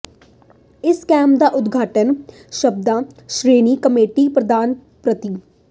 ਇਸ ਕੈਂਪ ਦਾ ਉਦਘਾਟਨ ਸਾਬਕਾ ਸ਼੍ਰੋ੍ਮਣੀ ਕਮੇਟੀ ਪਧਾਨ ਪ੍ਰਰੋ